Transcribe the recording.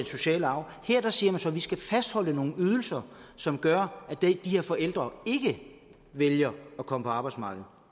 sociale arv her siger man så at vi skal fastholde nogle ydelser som gør at de her forældre ikke vælger at komme på arbejdsmarkedet